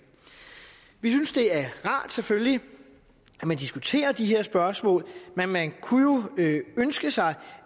vi synes det er rart selvfølgelig at man diskuterer de her spørgsmål men man kunne jo ønske sig